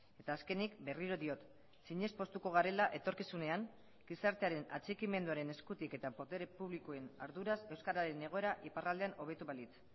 eta azkenik berriro diot zinez poztuko garela etorkizunean gizartearen atxikimenduaren eskutik eta botere publikoen arduraz euskararen egoera iparraldean hobetu balitz